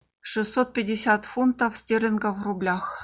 шестьсот пятьдесят фунтов стерлингов в рублях